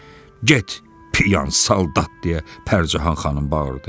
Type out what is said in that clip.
Get, piyan saldat deyə Pərcahan xanım bağırdı.